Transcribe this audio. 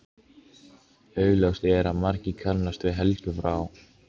Augljóst er að margir kannast við Helgu frá